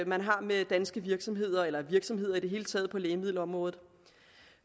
man har med danske virksomheder eller virksomheder i det hele taget på lægemiddelområdet